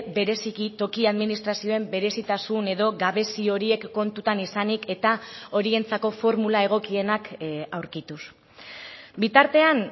bereziki toki administrazioen berezitasun edo gabezi horiek kontutan izanik eta horientzako formula egokienak aurkituz bitartean